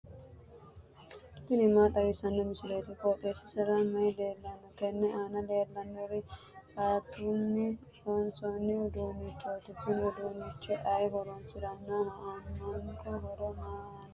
tini maa xawissanno misileeti? qooxeessisera may leellanno? tenne aana leellannori saattunni loosamino uduunnichooti. kuni uduunnichi ayi horoonsirannoho? aannonke horono maa labbanno'ne?